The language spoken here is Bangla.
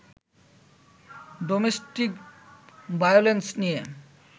ডোমেস্টিক ভায়োলেন্স নিয়ে